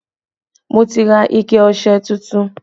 Mo ti ra ike ọṣẹ tuntun